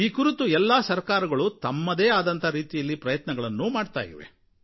ಈ ಕುರಿತು ಎಲ್ಲಾ ಸರಕಾರಗಳು ತಮ್ಮದೇ ಆದ ರೀತಿಯಲ್ಲಿ ಪ್ರಯತ್ನಗಳು ಮಾಡಿವೆ